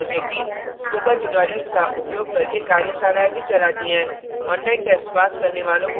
spoken tutorials का उपयोग करके कार्यशालाएँ भी चलाती है ऑनलाइन टेस्ट पास करने वालों को प्रमाणपत्र भी देते हैं